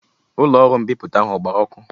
Ụlọọrụ mbipụta ahụ ọ gbara ọkụ?